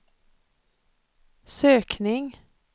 sökning